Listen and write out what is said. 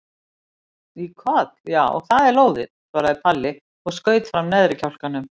Í koll já, það er lóðið, svaraði Palli og skaut fram neðri kjálkanum.